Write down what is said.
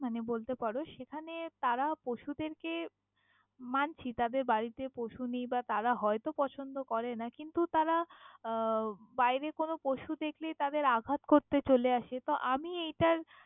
মানে বলতে পারো, সেখানে তারা পশুদের কে মানছি তাদের বাড়িতে পশু নেই বা তারা হয়ত পছন্দ করেনা। কিন্তু তারা আহ বাইরে কোনো পশু দেখলেই তাদের আঘাত করতে চোলে আসে। তহ আমি এইটার।